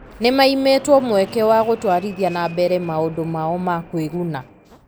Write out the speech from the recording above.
nĩmaimĩtwo mweke wa gũtwarithia na mbere maũndũ mao ma kũĩguna.